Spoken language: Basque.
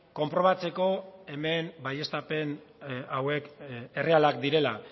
konprobatzeko hemen baieztapen hauek errealak direla